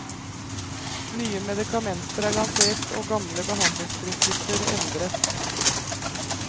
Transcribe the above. Nye medikamenter er lansert og gamle behandlingsprinsipper endret.